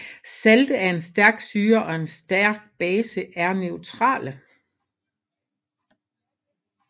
Salte af en stærk syre og en stærk base er neutrale